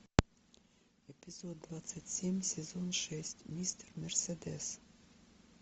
эпизод двадцать семь сезон шесть мистер мерседес